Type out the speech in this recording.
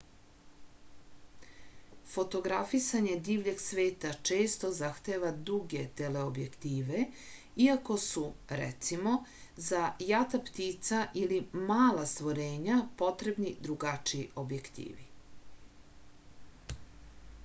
fotografisanje divljeg sveta često zahteva duge teleobjektive iako su recimo za jata ptica ili mala stvorenja potrebni drugačiji objektivi